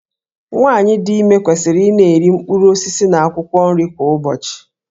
Nwaanyị dị ime kwesịrị ị na-eri mkpụrụ osisi na akwụkwọ nri kwa ụbọchị.